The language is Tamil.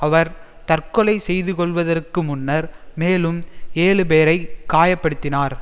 அவர் தற்கொலை செய்துகொள்வதற்கு முன்னர் மேலும் ஏழு பேரை காயப்படுத்தினார்